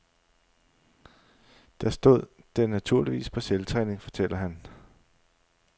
Der stod den naturligvis på selvtræning, fortæller han.